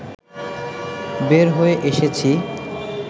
বের হয়ে এসেছি